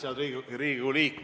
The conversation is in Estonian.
Head Riigikogu liikmed!